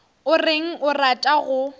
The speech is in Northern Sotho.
o reng o rata go